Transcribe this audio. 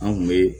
An kun be